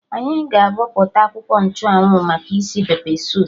Anyị ga-abọpụta akwụkwọ nchụ anwụ maka isi pepe soup